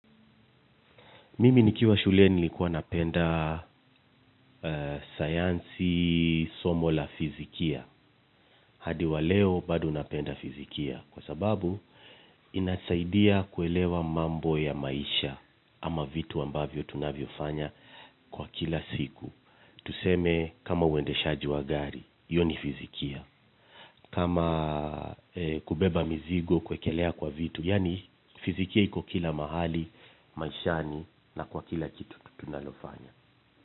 Mimi nikiwa shule nilikuwa napenda sayansi somo la fizikia. Hadi wa leo bado napenda fizikia. Kwa sababu inasaidia kuelewa mambo ya maisha ama vitu ambavyo tunavyo fanya kwa kila siku. Tuseme kama uende shaji wa gari, hiyo ni fizikia. Kama kubeba mizigo kuwekelea kwa vitu. Yaani fizikia iko kila mahali, maishani na kwa kila kitu tunalofanya.